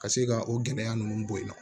Ka se ka o gɛlɛya ninnu bɔ yen nɔ